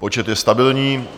Počet je stabilní.